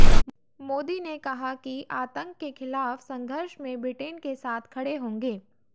मोदी ने कहा कि आतंक के खिलाफ़ संघर्ष में ब्रिटेन के साथ खड़े होंगे